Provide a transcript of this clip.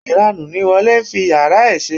Ìranù ni Wole ń fi yàrá ẹ̀ ṣe.